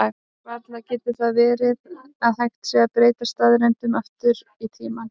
Varla getur það verið að hægt sé að breyta staðreyndum aftur í tímann?